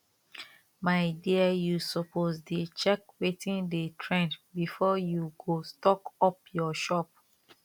my dear you suppose dey check wetin dey trend before you go stock up your shop